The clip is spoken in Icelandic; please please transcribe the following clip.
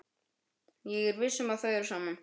Ég er viss um að þau eru saman.